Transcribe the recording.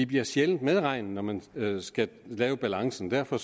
bliver sjældent medregnet når man skal lave balancen derfor